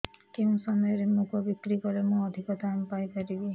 କେଉଁ ସମୟରେ ମୁଗ ବିକ୍ରି କଲେ ମୁଁ ଅଧିକ ଦାମ୍ ପାଇ ପାରିବି